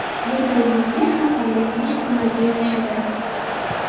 Bunday yuzga har qanday soch turmagi yarashadi.